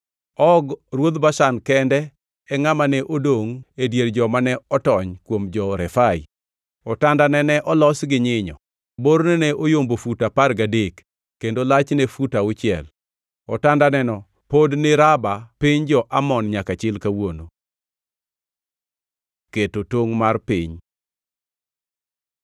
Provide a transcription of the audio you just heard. (Og ruodh Bashan kende e ngʼama ne odongʼ e dier jomane otony kuom jo-Refai. Otandane ne olos gi nyinyo; borne ne oyombo fut apar gadek kendo lachne fut auchiel. Otandaneno pod ni Raba piny jo-Amon nyaka chil kawuono). Keto tongʼ mar piny